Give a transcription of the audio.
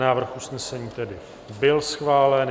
Návrh usnesení tedy byl schválen.